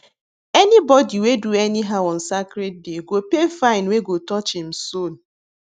anybody wey do anyhow on sacred day go pay fine wey go touch im soul